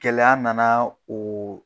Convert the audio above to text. Gɛlɛya nana oo